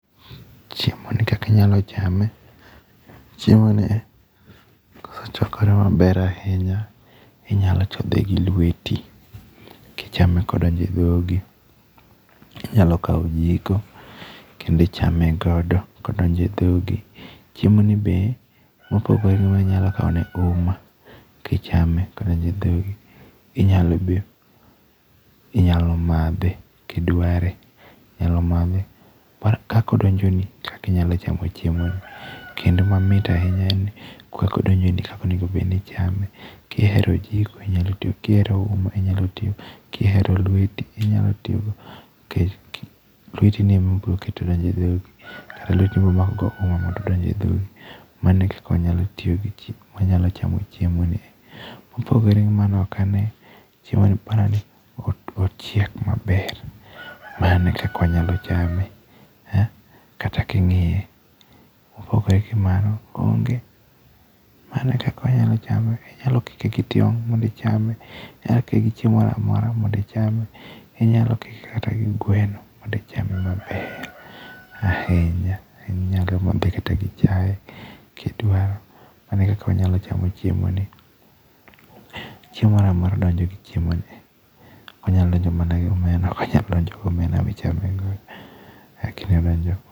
Chiemoni kaka inyalo chame, chiemo kosechwakore maber ahinya, inyalo chodhe gi lweti kichame koda. Inyalo kawo ojiko, kendo ichame godo kodonjo e dhogi. Chiemoni be, kopogore gi mano inyalo kawone uma kichame kodonjo e dhogi. Inyalo be, inyalo madhe kidware, kaka odonjoni e kaka inyalo chamo chiemoni. Kendo mamit ahinya en ni kaka odonjoni, kaka onego obed ni ichame, kihero ojiko, inyalo tiyogi, kihero uma inyatiyogo. Kihero lweti, inyalo tiyogo nikech lwetini emi biro keto donjo e dhogi, lweti emi bro mako go uma mondo odonj e dhogi. Mano e kaka wanyalo chamo chiemoni. Mopogore gi mano ok ane, chiemoni ochiek maber, mano eka wanyalo chame. Kata king'iye, mopogore gi mano onge. Mano e kaka wanyalo chame. Wanyalo kike gi chiemo mondo ichame, inya kike gi chiemo mora mora mondo icahme. Inyalo kike kata gi gweno, mondo ichame maber ahinya. Inyalo madhe kata gi chaye kidwaro. mano e kaka wanyalo chamo chiemoni. Chiemo moramora donjo gi chiemoni. Ok onya donjo mana gi omena. Ok onyal donjo gi omena michame go, lakini odonjo